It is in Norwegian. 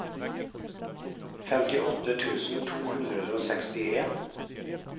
femtiåtte tusen to hundre og sekstien